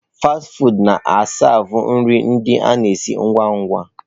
Fasti fụụdụ na a siavu nri ndị a na esi ngwa ngwa.